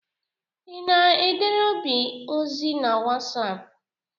Ị na-edere Obi ozi na Wasapụ?